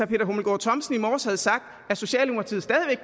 peter hummelgaard thomsen i morges havde sagt